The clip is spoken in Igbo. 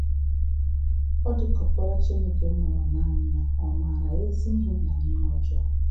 O dị ka Ọkpara Chineke mụrụ nanị ya ọ maara “ezi ihe na ihe ọjọọ”